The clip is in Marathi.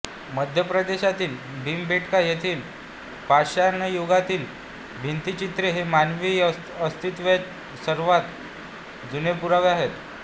मध्यप्रदेशातील भीमबेटका येथील पाषाणयुगातील भित्तिचित्रे हे मानवी अस्तित्वाचे सर्वांत जुने पुरावे आहेत